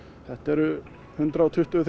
þetta eru hundrað og tuttugu